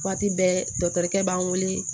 Waati bɛɛ dɔkɛ b'an wele